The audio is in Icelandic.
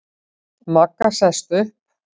Magga sest upp.